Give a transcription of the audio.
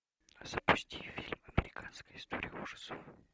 запусти фильм американская история ужасов